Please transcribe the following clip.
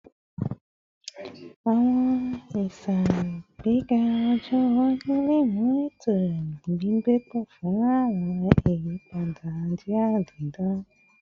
Awọn iṣagbega ọjọ iwaju le mu eto gbigbe pọ si fun awọn iyipada jia didan